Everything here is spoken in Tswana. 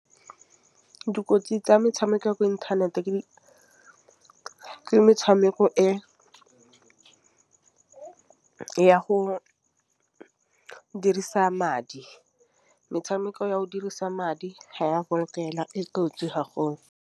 Dikotsi tsa metšhameko ya mo inthaneteng ke metšhameko e ya go dirisa madi. Metšhameko ya go dirisa madi ha ya go lokela e kotsi .